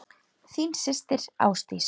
Þín systir Ásdís.